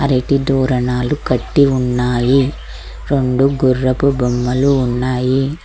అరటి తోరణాలు కట్టి ఉన్నాయి రొండు గుర్రపు బొమ్మలు ఉన్నాయి